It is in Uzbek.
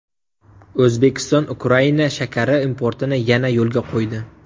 O‘zbekiston Ukraina shakari importini yana yo‘lga qo‘ydi.